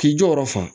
K'i jɔyɔrɔ fa